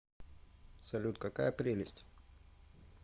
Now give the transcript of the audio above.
салют какая прелесть